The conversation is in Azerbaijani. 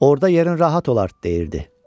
Orda yerin rahat olar deyirdi.